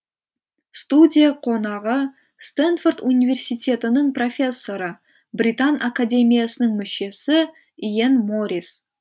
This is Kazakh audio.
студия қонағы стэнфорд университетінің профессоры британ академиясының мүшесі иен морис